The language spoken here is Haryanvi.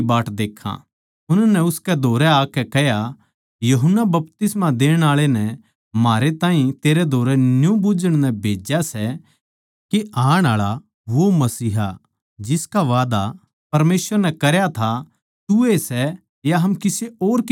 उननै उसकै धोरै आकै कह्या यूहन्ना बपतिस्मा देणआळे नै म्हारै ताहीं तेरै धोरै न्यू बुझ्झण नै भेज्या सै के आण आळा वो मसीहा जिसका वादा परमेसवर नै करया था तू ए सै या हम किसे और की बाट देक्खां